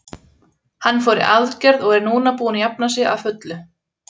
Hann fór í aðgerð og er núna búinn að jafna sig að fullu.